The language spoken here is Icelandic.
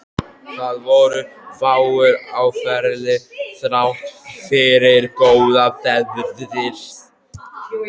Það voru fáir á ferli þrátt fyrir góða veðrið.